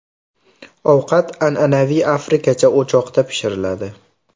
Ovqat an’anaviy afrikacha o‘choqda pishiriladi.